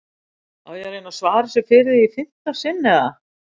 Á ég að reyna að svara þessu fyrir þig í fimmta sinn eða?